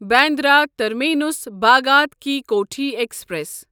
Bandra terminus Bhagat ki Kothi express